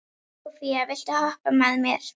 Sophia, viltu hoppa með mér?